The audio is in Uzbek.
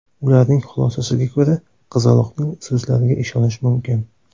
Ularning xulosasiga ko‘ra, qizaloqning so‘zlariga ishonish mumkin.